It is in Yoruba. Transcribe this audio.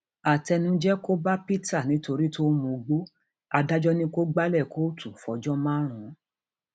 àtẹnujẹ um kò bá peter nítorí tó ń mugbó adájọ ni kò gbalẹ kóòtù fọjọ um márùn